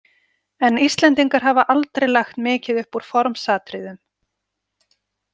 En Íslendingar hafa aldrei lagt mikið upp úr formsatriðum.